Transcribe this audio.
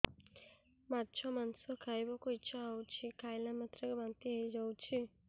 ମାଛ ମାଂସ ଖାଇ ବାକୁ ଇଚ୍ଛା ହଉଛି ଖାଇଲା ମାତ୍ରକେ ବାନ୍ତି ହେଇଯାଉଛି